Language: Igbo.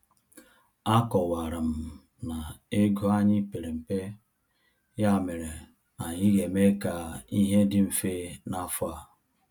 Akọwara m na ego anyị pere mpe, ya mere anyị ga-eme ka ihe dị mfe n’afọ a.